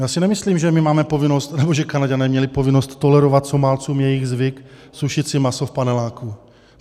Já si nemyslím, že my máme povinnost nebo že Kanaďané měli povinnost tolerovat Somálcům jejich zvyk sušit si maso v paneláku.